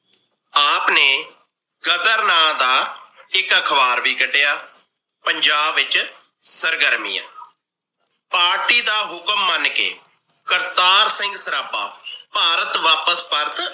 ਆਪ ਨੇ ਗ਼ਦਰ ਨਾ ਦਾ ਇਕ ਅਖਵਾਰ ਵੀ ਕੱਢਿਆ। ਪੰਜਾਬ ਵਿਚ ਸਰਗਰਮੀਆਂ party ਦਾ ਹੁਕਮ ਮਨ ਕੇ ਕਰਤਾਰ ਸਿੰਘ ਸਰਾਬਾ ਭਾਰਤ ਵਾਪਸ ਪਰਤ